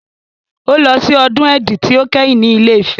Ó lọ sí ọdún Èdí tí ó kẹ́yìn ní Ilé-Ifẹ̀.